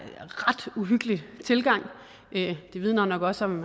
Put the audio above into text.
uhyggelig tilgang det vidner nok også om